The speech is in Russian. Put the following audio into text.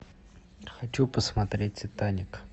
хочу посмотреть титаник